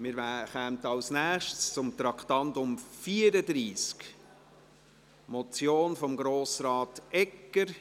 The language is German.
Wir kommen als Nächstes zum Traktandum 34, einer Motion von Grossrat Egger.